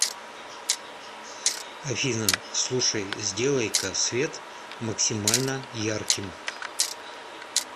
афина слушай сделай ка свет максимально ярким